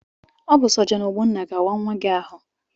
Ọ bụ sọjọn Ogbonna ga-awa nwa gị ahụ.